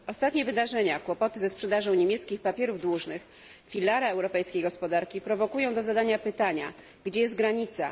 Ostatnie wydarzenia kłopoty ze sprzedażą niemieckich papierów dłużnych, filara europejskiej gospodarki prowokują do zadania pytania, gdzie jest granica?